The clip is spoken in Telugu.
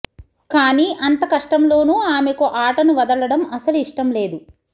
కానీ అంత కష్టంలోనూ ఆమెకు ఆటను వదలడం అసలు ఇష్టంలేదు